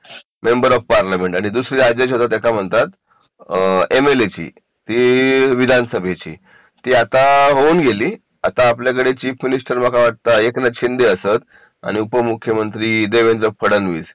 member of parliament आणि दुसरी जी होते त्या का म्हणतात एम एल ए ची विधानसभेची ती आता होऊन गेली आता आपल्याकडे चीफ मिनिस्टर मका वाटता एकनाथ शिंदे असत आणि उपमुख्यमंत्री देवेंद्र फडणवीस